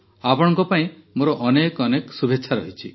ଆପଣଙ୍କ ପାଇଁ ମୋର ଅନେକ ଅନେକ ଶୁଭେଚ୍ଛା ରହିଛି